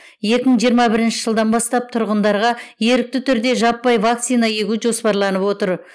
екі мың жиырма бірінші жылдан бастап тұрғындарға ерікті түрде жаппай вакцина егу жоспарланып отыр